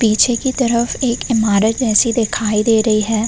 पीछे की तरफ एक इमारत जैसी दिखाई दे रही है।